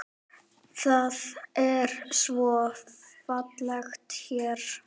Það er svo fallegt hérna.